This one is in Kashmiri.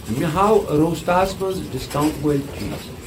مےٚ ہاو رۄسٹا ہَس مَنٛز ڈسکاونٛٹ وٲلۍ چیٖز۔